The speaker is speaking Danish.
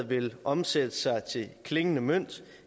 vil omsætte sig til klingende mønt